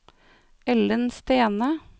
Ellen Stene